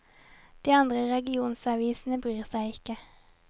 De andre regionsavisene bryr seg ikke.